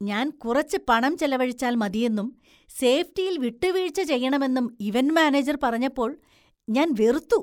ഞാൻ കുറച്ച് പണം ചെലവഴിച്ചാൽ മതിയെന്നും സേഫ്റ്റിയിൽ വിട്ടുവീഴ്ച ചെയ്യണമെന്നും ഇവന്‍റ് മാനേജർ പറഞ്ഞപ്പോള്‍ ഞാൻ വെറുത്തു.